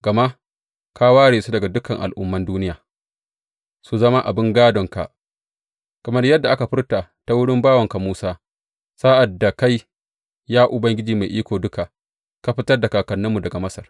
Gama ka ware su daga dukan al’umman duniya su zama abin gādonka, kamar yadda aka furta ta wurin bawanka Musa sa’ad da kai, ya Ubangiji Mai Iko Duka ka fitar da kakanninmu daga Masar.